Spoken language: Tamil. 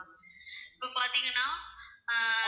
இப்போ பாத்தீங்கன்னா ஆஹ்